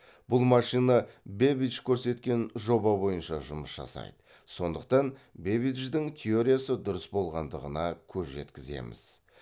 бұл машина бэббидж көрсеткен жоба бойынша жұмыс жасайды сондықтан бэббидждің теориясы дұрыс болғандығына көз жеткіземіз